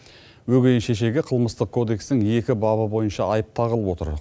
өгей шешеге қылмыстық кодекстің екі бабы бойынша айып тағылып отыр